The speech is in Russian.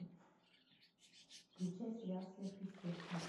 включай сериал сверхъестественное